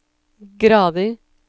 grader